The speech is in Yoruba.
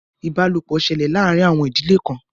Ìbálòpọ̀ ṣẹlẹ̀ láàárín àwọn ìdílé kan.